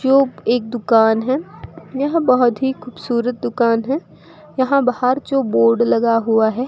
जो एक दुकान है यह बहुत ही खूबसूरत दुकान है यहां बाहर जो बोर्ड लगा हुआ है।